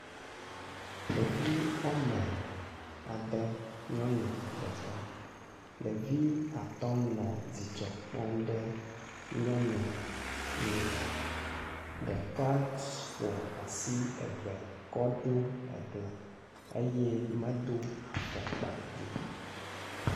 ɖevi wɔme adē nyɔnu ɖeka ɖevi atɔ nɔ dzidzɔkpɔm ɖe nyɔnu ŋu ɖeka fɔ asi eve kɔɖo egla eye medó afɔkpa o